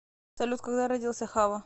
салют когда родился хавва